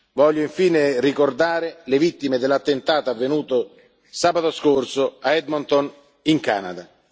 Voglio infine ricordare le vittime dell'attentato avvenuto sabato scorso, a Edmonton, in Canada.